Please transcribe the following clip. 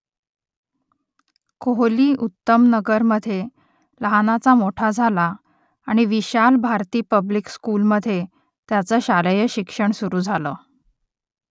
कोहली उत्तमनगरमधे लहानाचा मोठा झाला आणि विशाल भारती पब्लिक स्कूलमधे त्याचं शालेय शिक्षण सुरू झालं